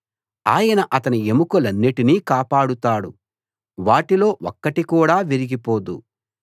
ఆయన అతని ఎముకలన్నిటినీ కాపాడుతాడు వాటిలో ఒక్కటి కూడా విరిగి పోదు